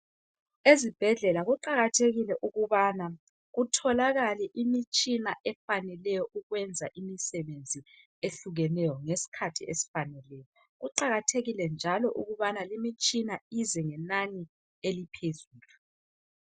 Ezibhedlela kuqakathekile ukubana kutholakale imitshina efaneleyo ukwenza imisebenzi ehlukeneyo ngesikhathi esifaneleyo. Kuqakathekile njalo ukubana limitshina ize ngenani eliphezulu.